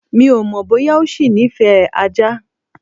Mi ò mọ̀ bóyá ọ ṣì nífẹ̀ẹ́ ajá.